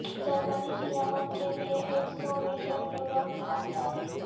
جرمنی کی یمن کے لیے ایک سو ملین یورو کی امداد